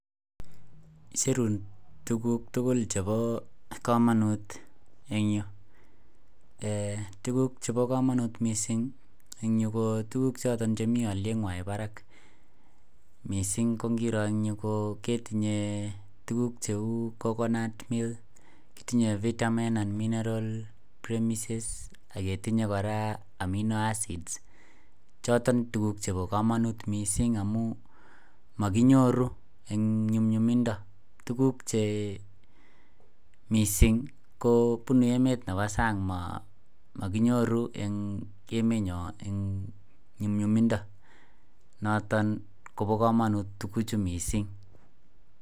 Icherun tuguk tugul chebo komonut en tuguk Cheba kamanut mising en Yu ko tuguk choton chemi alienywan Barak mising kokerenyun ketinye tuguk cheu kokonut milk ,kotinye vitamins and minerals premises akotinye koraa amino acids choton tuguk Cheba kamanut mising amun makinyoru en nyumnyumindo tuguk Che mising ko bunu emet Nebo sang makinyoru en emeniyon nyumnyumindo noton Koba kamanut tuguk chuton mising